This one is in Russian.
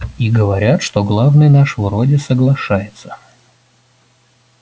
и говорят что главный наш вроде соглашается